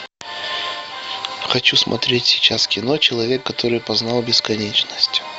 хочу смотреть сейчас кино человек который познал бесконечность